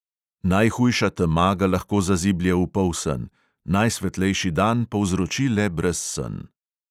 Najhujša tema ga lahko zaziblje v polsen, najsvetlejši dan povzroči le brezsen.